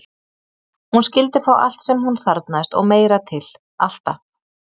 Hún skyldi fá allt sem hún þarfnaðist og meira til, alltaf.